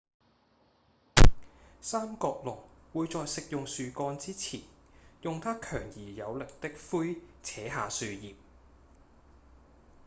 三角龍會在食用樹幹之前用牠強而有力的喙扯下樹葉